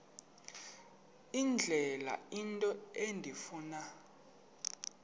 indlela into endifuna